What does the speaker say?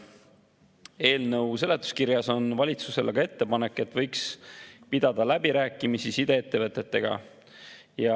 Eelnõu seletuskirjas on valitsusele ka ettepanek, et võiks pidada läbirääkimisi sideettevõtetega.